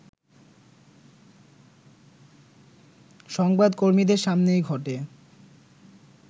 সংবাদকর্মীদের সামনেই ঘটে